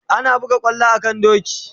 Ana buga kwallo a kan doki